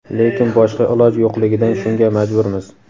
lekin boshqa iloj yo‘qligidan shunga majburmiz.